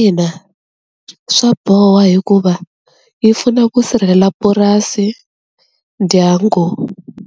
Ina swa boha hikuva yi pfuna ku sirhelela purasi, dyangu,